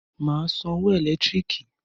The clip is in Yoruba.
Màá a San owo ẹ̀lẹ́tíríkì